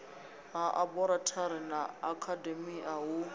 ha aborathari na akhademia hu